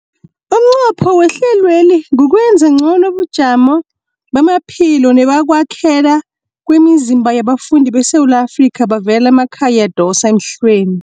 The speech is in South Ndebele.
Umnqopho omkhulu wehlelweli kukwenza ngcono ubujamo bamaphilo nebokwakhela kwemizimba yabafundi beSewula Afrika abavela emakhaya adosa emhlweni.